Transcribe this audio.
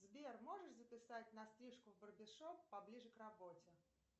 сбер можешь записать на стрижку в барбершоп поближе к работе